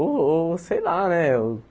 Ou ou sei lá, né?